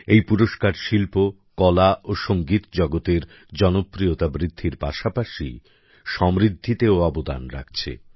এই পুরস্কার শিল্প কলা ও সঙ্গীত জগতের জনপ্রিয়তা বৃদ্ধির পাশাপাশি সমৃদ্ধিতেও অবদান রাখছে